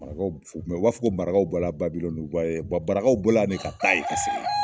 Marakaw u b'a fɔ ko marakaw bɔra Babilɔni marakaw bɔ la yan de ka taa ye ka segin.